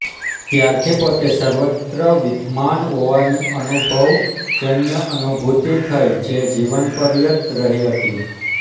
ત્યારથી પોતે સર્વત્ર વિદ્યમાન હોવાની અનુભવજન્ય અનુભૂતિ થઇ જે જીવનપર્યંત રહી હતી